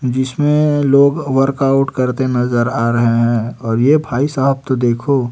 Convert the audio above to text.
जिसमें लोग वर्कआउट करते नजर आ रहे हैं और ये भाई साहब तो देखो--